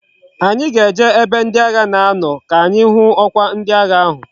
Anyi ga eje na ebe ndi agha na ano ka anyi hu okwa ndi agha ahu